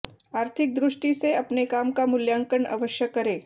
आर्थिक दृष्टि से अपने काम का मूल्यांकन अवश्य करें